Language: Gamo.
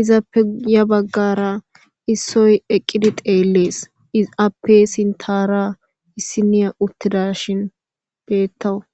izappe guye baggara issoy eqidi xeless izappe sinthara issinay eqada bermtawus